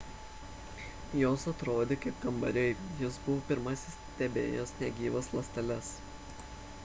jos atrodė kaip kambariai jis buvo pirmasis stebėjęs negyvas ląsteles